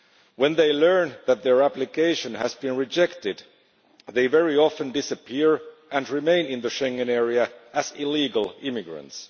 When they learn that their application has been rejected they very often disappear and remain in the Schengen area as illegal immigrants.